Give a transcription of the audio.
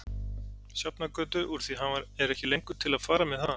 Sjafnargötu úr því hann er ekki lengur til að fara með mig þaðan.